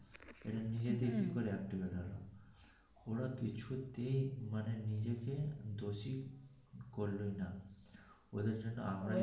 এটা নিজে করে activate